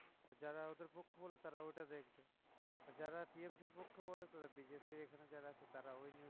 আর যারা ওদের পক্ষ বলে তারা ওইটা দেখবে আর যারা TMC এর পক্ষ বলে তারা BJP এর এখানে যারা আছে তারা ওই news